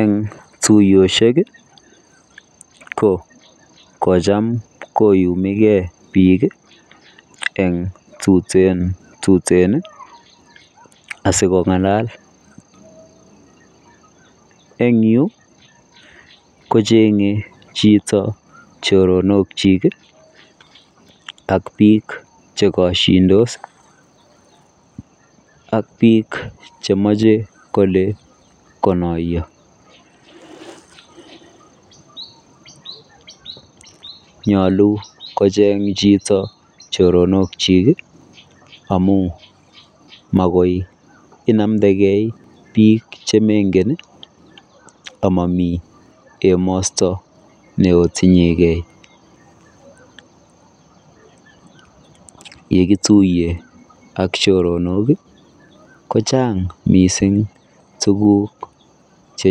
Eng tuyosiek ii ko kochaam koyumekei biik eng tuteen tuteen ii asiko ngalal eng Yuu kochengei chitoo choronok kyiik ak biik che kashindos ak biik che machei kole konayaa nyaluu kocheeng chitoo choronok kyiik amuun makoi inamdagei biik che mengeen ama mamii emasto ne otinyei gei ye kituye ak choronok ii ko chaang missing tuguuk che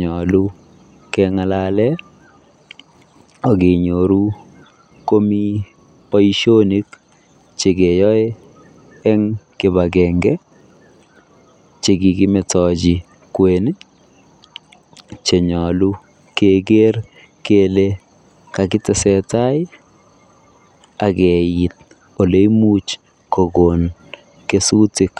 nyaluu kengalalen ak kenyoruu komii boisionik che keyae en kibagengei che kikimetochii kweeny che nyaluu keger kele kakitesentai ole imuuch kogoon kesutik .